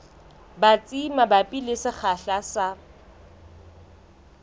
batsi mabapi le sekgahla sa